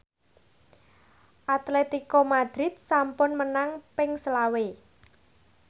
Atletico Madrid sampun menang ping selawe